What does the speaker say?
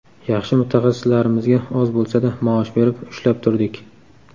Yaxshi mutaxassislarimizga oz bo‘lsa-da maosh berib, ushlab turdik.